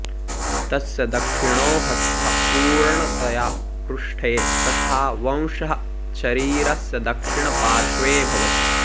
तस्य दक्षिणो हस्तः पूरणतया पृष्ठे तथा वंशः शरीरस्य दक्षिणपार्श्वे भवति